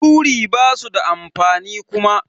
Turi basu da amfani Kuma.